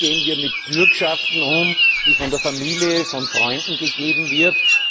Wie gehen wir mit Bürgschaften um, die von der Familie, von Freunden gegeben werden?